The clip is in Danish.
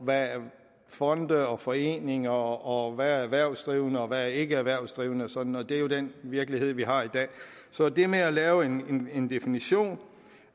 hvad der er fonde og foreninger og hvad der er erhvervsdrivende og hvad der ikke erhvervsdrivende og sådan og det er jo den virkelighed vi har i dag så det med at lave en definition